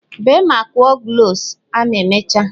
Bee ma kụọ cloves a ma emechaa!